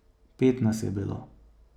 Pet nas je bilo.